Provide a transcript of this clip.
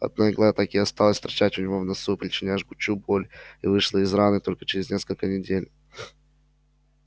одна игла так и осталась торчать у него в носу причиняя жгучую боль и вышла из раны только через несколько недель